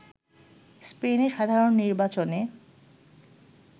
স্পেনে সাধারণ নির্বাচনে